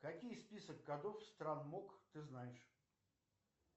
какие список кодов стран мок ты знаешь